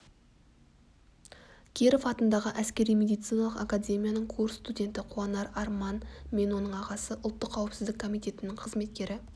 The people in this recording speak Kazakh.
киров атындағы әскери-медициналық академияның курс студенті қуанар арман мен оның ағасы ұлттық қауіпсіздік комитетінің қызметкері